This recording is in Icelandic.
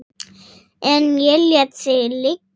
En ég lét það liggja.